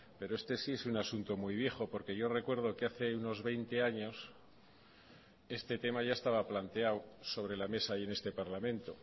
pero este si es un asunto muy viejo porque yo recuerdo que hace unos veinte años este tema ya estaba planteado sobre la mesa y en este parlamento